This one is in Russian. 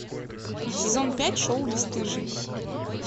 сезон пять шоу бесстыжие